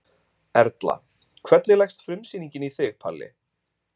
Erla: Hvernig leggst frumsýning í þig Palli?